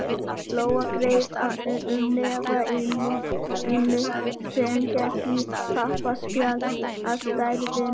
Lóa greip um hnefa Ínu sem hélt í pappaspjald af stærðinni